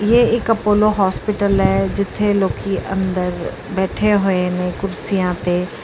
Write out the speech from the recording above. ਇਹ ਇੱਕ Apollo hospital ਹੈ ਜਿੱਥੇ ਲੋਕੀ ਅੰਦਰ ਬੈਠੇ ਹੋਏ ਨੇ ਕੁਰਸੀਆਂ ਤੇ।